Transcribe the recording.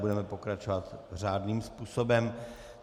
Budeme pokračovat řádným způsobem.